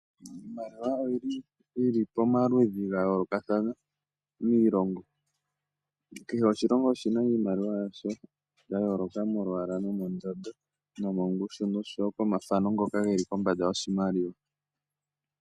Iimaliwa oyi li pamaludhi ga yoolokathana miilongo. Kehe oshilongo oshi na iimaliwa yasho ya yoolokathana molwaala, mondondo, mongushu nosho wo komathano ngoka ge li kombanda yoshimaliwa.